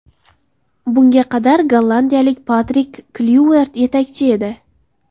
Bunga qadar gollandiyalik Patrik Klyuvert yetakchi edi.